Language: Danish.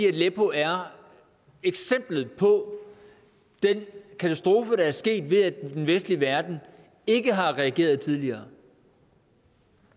aleppo er eksemplet på den katastrofe der er sket ved at den vestlige verden ikke har reageret tidligere